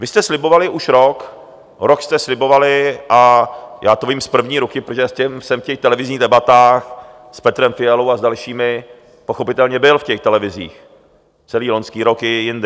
Vy jste slibovali už rok, rok jste slibovali, a já to vím z první ruky, protože jsem v těch televizních debatách s Petrem Fialou a s dalšími pochopitelně byl v těch televizích, celý loňský rok i jindy.